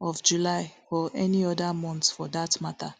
of july or any oda month for dat mata